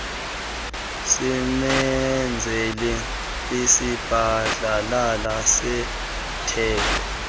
simenzele isibhadlalala setheko